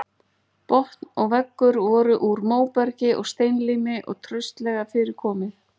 Botn og veggur voru úr móbergi og steinlími og traustlega fyrir komið.